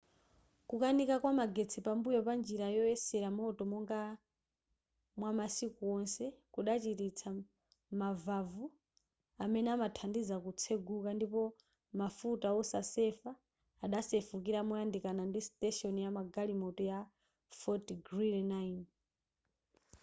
kukanika kwa magetsi pambuyo pa njira yoyeserera moto monga mwamasiku wonse kudachititsa mavavu amene amathandiza kutseguka ndipo mafuta osasefa adasefukira moyandikana ndi station yamagalimoto ya fort greely 9